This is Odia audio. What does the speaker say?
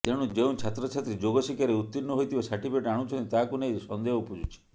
ତେଣୁ ଯେଉଁ ଛାତ୍ରଛାତ୍ରୀ ଯୋଗଶିକ୍ଷାରେ ଉତୀର୍ଣ୍ଣ ହୋଇଥିବା ସାର୍ଟିଫିକେଟ୍ ଆଣୁଛନ୍ତି ତାହାକୁ ନେଇ ସନ୍ଦେହ ଉପୁଜୁଛି